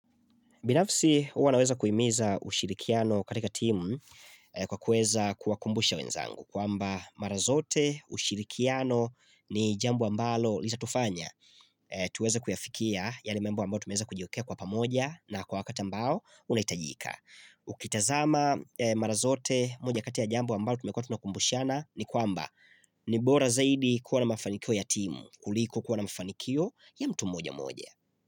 Binafsi huwa naweza kuimiza ushirikiano katika timu kwa kueza kuwa kumbusha wenzangu kwamba mara zote ushirikiano ni jambo ambalo litatufanya ehh tuweza kuyafikia yale mambo ambayo tumeza kujiwekea kwa pamoja na kwa wakata ambao unaitajika. Hhh Ukitazama mara zote moja kati jambo ambalo tumekua tuna kumbushana ni kwamba nh ni bora zaidi kuwa na mafanikio ya timu kuliko kuwa na mafanikio ya mtu mmoja mmoja.